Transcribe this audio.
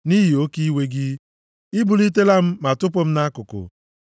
nʼihi oke iwe gị, i bulitela m, ma tụpụ m nʼakụkụ.